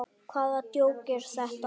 Hvaða djók er þetta?